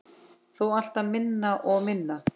Þó alltaf minna og minna.